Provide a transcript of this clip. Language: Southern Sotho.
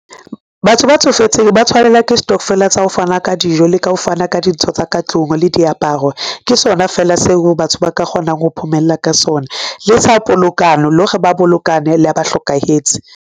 Batho ba tsofetseng ba tshwanelwa ke stokvel-a tsa ho fana ka dijo, le ka ho fana ka dintho tsa ka tlung le diaparo. Ke sona fela seo batho ba ka kgonang ho phomella ka sona le sa polokano, le hore ba bolokane la ba hlokahetse.